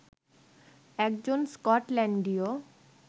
একজন স্কটল্যান্ডীয়